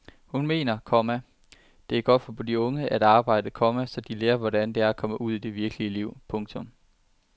Hun mener, komma det er godt for de unge at arbejde, komma så de lærer hvordan det er at komme ud i det virkelige liv. punktum